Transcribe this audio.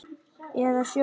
Eða sjóinn?